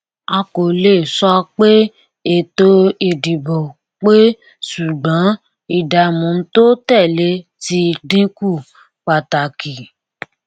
a kò lè sọ pé ètò ìdìbò pé ṣùgbọn ìdààmú tó tẹlé ti dínkù pàtàkì